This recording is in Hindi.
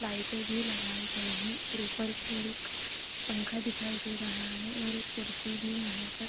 लाइटें भी लगाई गई है ऊपर की ओर एक पंखा दिखाई दे रहा है और एक कुर्सी भी यहाँ पर --